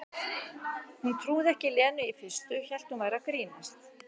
Hún trúði ekki Lenu í fyrstu, hélt hún væri að grínast.